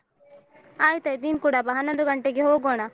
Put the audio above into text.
ಆಯ್ತಾಯ್ತು ನೀನು ಕೂಡ ಬಾ ಹನ್ನೊಂದು ಗಂಟೆಗೆ ಹೋಗೋಣ.